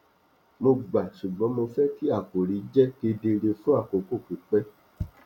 mo gbà ṣùgbọn mo fẹ kí àkòrí jẹ kedere fún àkókò pípẹ